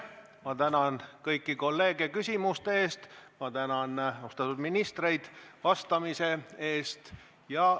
Ma tänan kõiki kolleege küsimuste eest, ma tänan austatud ministreid vastamise eest.